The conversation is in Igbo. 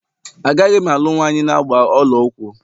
Agaghị m alụ nwanyị na agba ọla ụkwụ